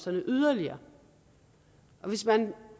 yderligere hvis man